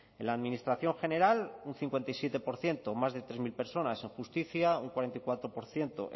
en la administración general un cincuenta y siete por ciento más de tres mil personas en justicia un cuarenta y cuatro por ciento